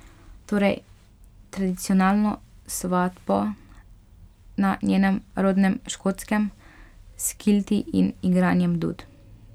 Torej tradicionalno svatbo na njenem rodnem Škotskem, s kilti in igranjem dud.